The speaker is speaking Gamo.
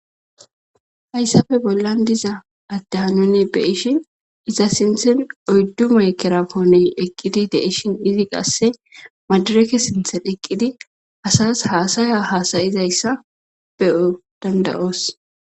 Hayssafe bollan diza addehanone beishi iza sinthen oyddume ekeraponen eqqidi deishin izi qasse madareke sinthen eqqidi asas haasaya haasayizayssa beo dandayoos